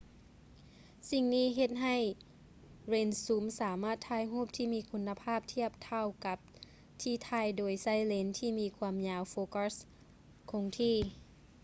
ສິ່ງນີ້ເຮັດໃຫ້ເລນຊູມ ສາມາດຖ່າຍຮູບທີ່ມີຄຸນະພາບທຽບເທົ່າກັບທີ່ຖ່າຍໂດຍໃຊ້ເລນທີ່ມີຄວາມຍາວໂຟກັດຄົງທີ່